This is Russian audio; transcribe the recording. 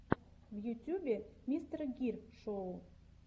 в ютюбе мистер гир шоу